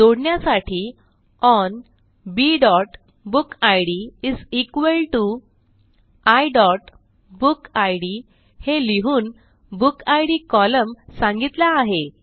जोडण्यासाठी ओन bबुकिड iबुकिड हे लिहून बुकिड कोलम्न सांगितला आहे